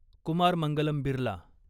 Kumar Mangalam Birla